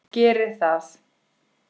Geri það!